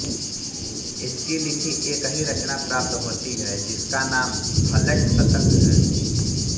इनकी लिखी एक ही रचना प्राप्त होती है जिसका नाम भल्लट शतक है